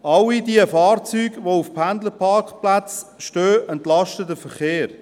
Alle diese Fahrzeuge, die auf Pendlerparkplätzen stehen, entlasten den Verkehr.